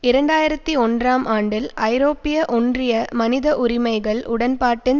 இரண்டு ஆயிரத்தி ஒன்றாம் ஆண்டில் ஐரோப்பிய ஒன்றிய மனித உரிமைகள் உடன்பாட்டின்